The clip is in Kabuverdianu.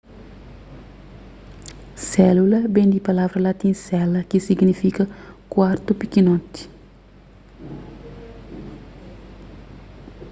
sélula ben di palavra latin cella ki signifika kuartu pikinoti